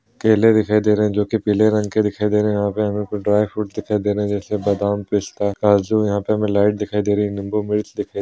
केले दिखाई दे रहें हैं जोकि पीले रंग के दिखाई दे रहें हैं यहाँ पे हमें कुछ ड्राइ फ्रूट दिखाई दे रहें हैं जैसे बादाम पिस्ता काजू यहाँ पे हमें लाइट दिखाई दे रही है निम्बू मिर्च दिखाई --